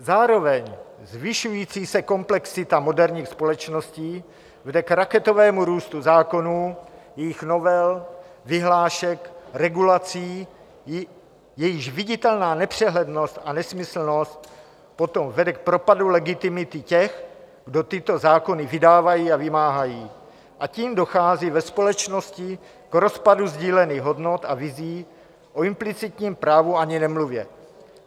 Zároveň zvyšující se komplexita moderních společností vede k raketovému růstu zákonů, jejich novel, vyhlášek, regulací, jejichž viditelná nepřehlednost a nesmyslnost potom vede k propadu legitimity těch, kdo tyto zákony vydávají a vymáhají, a tím dochází ve společnosti k rozpadu sdílených hodnot a vizí, o implicitním právu ani nemluvě.